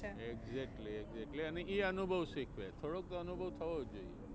exactally એટલે એ અનુભવ શીખવે. થોડોક તો અનુભવ થવો જોઈએ.